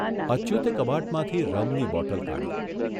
અચ્યુતે કબાટમાંથી રમની બોટલ કાઢી.